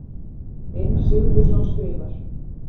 Einar Sigurbjörnsson skrifar